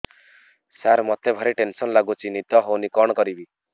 ସାର ମତେ ଭାରି ଟେନ୍ସନ୍ ଲାଗୁଚି ନିଦ ହଉନି କଣ କରିବି